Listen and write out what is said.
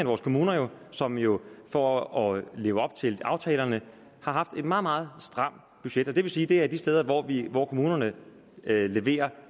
vores kommuner som jo for at leve op til aftalerne har haft et meget meget stramt budget og det vil sige at det er de steder hvor hvor kommunerne leverer